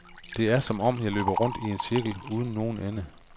Det er som om, jeg løber rundt i en cirkel uden nogen ende.